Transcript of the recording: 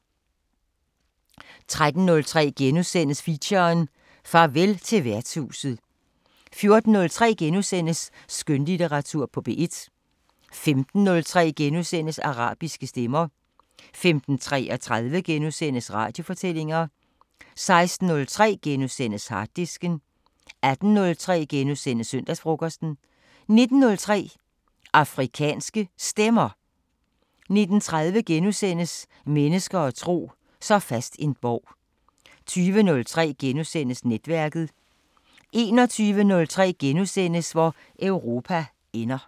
13:03: Feature: Farvel til værtshuset * 14:03: Skønlitteratur på P1 * 15:03: Arabiske Stemmer * 15:33: Radiofortællinger * 16:03: Harddisken * 18:03: Søndagsfrokosten * 19:03: Afrikanske Stemmer 19:30: Mennesker og tro: Så fast en borg * 20:03: Netværket * 21:03: Hvor Europa ender *